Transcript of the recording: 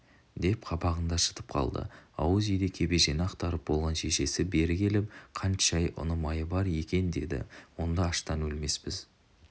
деп қабағын да шытып қалды ауыз үйде кебежені ақтарып болған шешесі бері келіпқант-шай ұн майы бар екендеді онда аштан өлмеспіз